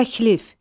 Təklif.